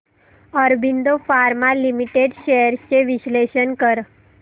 Aurobindo pharma limited shares चे विश्लेषण कर